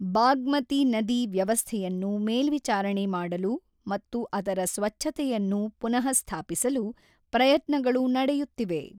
ಬಾಗ್ಮತಿ ನದಿ ವ್ಯವಸ್ಥೆಯನ್ನು ಮೇಲ್ವಿಚಾರಣೆ ಮಾಡಲು ಮತ್ತು ಅದರ ಸ್ವಚ್ಛತೆಯನ್ನು ಪುನಃಸ್ಥಾಪಿಸಲು ಪ್ರಯತ್ನಗಳು ನಡೆಯುತ್ತಿವೆ.